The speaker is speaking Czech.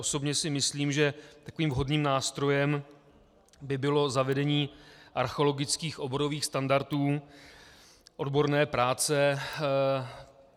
Osobně si myslím, že takovým vhodným nástrojem by bylo zavedení archeologických oborových standardů odborné práce.